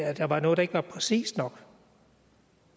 at der var noget der ikke var præcist nok